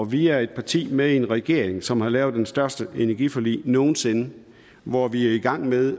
vi er et parti med en regering som har lavet det største energiforlig nogen sinde hvor vi er i gang med at